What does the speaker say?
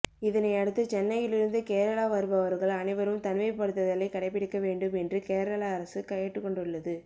இதனை அடுத்து சென்னையில் இருந்து கேரளா வருபவர்கள் அனைவரும் தனிமைப்படுத்துதலை கடைபிடிக்க வேண்டும் என்று கேரள அரசு கேட்டுக்கொண்டுள்ளது